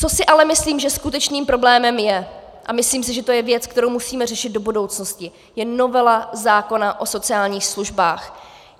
Co si ale myslím, že skutečným problémem je, a myslím si, že to je věc, kterou musíme řešit do budoucnosti, je novela zákona o sociálních službách.